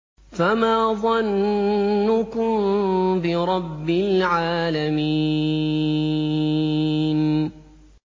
فَمَا ظَنُّكُم بِرَبِّ الْعَالَمِينَ